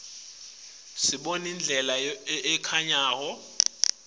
sibona indlela lebayitfunga ngayo